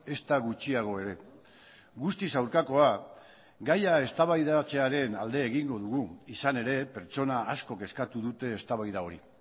ezta gutxiago ere guztiz aurkakoa gaia eztabaidatzearen alde egingo dugu izan ere pertsona askok eskatu dute eztabaida hori